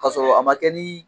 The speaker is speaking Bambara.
Kasɔrɔ a ma kɛ ni